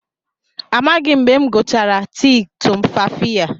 Amaghị m mgbe m gụchara tii tumfafiya